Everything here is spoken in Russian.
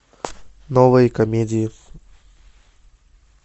новые комедии